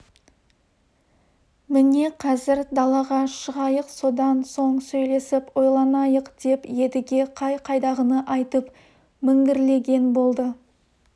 міне қазір далаға шығайық содан соң сөйлесіп ойланайық деп едіге қай-қайдағыны айтып міңгірлеген болды